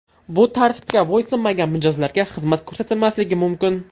Bu tartibga bo‘ysunmagan mijozlarga xizmat ko‘rsatilmasligi mumkin.